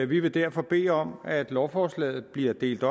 vi vil derfor bede om at lovforslaget bliver delt